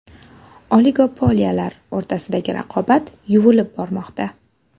Oligopoliyalar o‘rtasidagi raqobat yuvilib bormoqda.